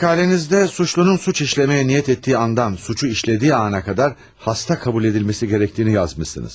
Məqalənizdə günahkarın cinayət etməyə niyyət etdiyi andan cinayəti işlədiyi ana qədər xəstə qəbul edilməsi gərəkdiyini yazmısınız.